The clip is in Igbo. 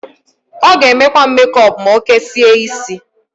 Ọ g'emekwa mekọp m'okesie isi.